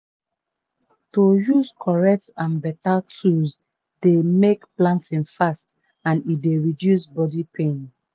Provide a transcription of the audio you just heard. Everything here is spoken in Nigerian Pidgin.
to use correct and beta tool dey may planting fast and e d reduce body pain.